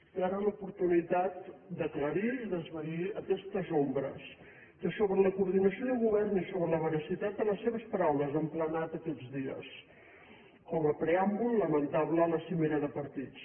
té ara l’oportunitat d’aclarir i d’esvair aquestes ombres que sobre la coordinació del govern i sobre la veracitat de les seves paraules han planat aquests dies com a preàmbul lamentable a la cimera de partits